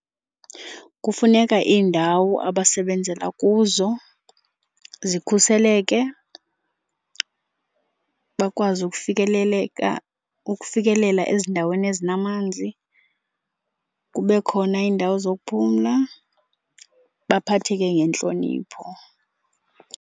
Kufuneka iindawo abasebenzela kuzo zikhuseleke, bakwazi ukufikeleleka, ukufikelela ezindaweni ezinamanzi, kube khona iindawo zokuphumla, baphatheke ngentlonipho.